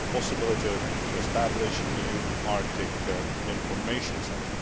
the possibility of establishing a new Arctic Information Centre.